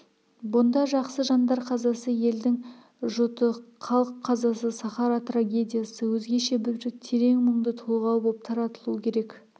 бұнда жақсы жандар қазасы елдің жұты халық қазасы сахара трагедиясы өзгеше бір терең мұңды толғау боп таратылу керек